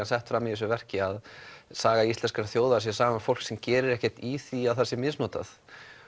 sett fram í þessu verki að saga íslenskra þjóða sé saga fólks sem gerir ekkert í því að það sé misnotað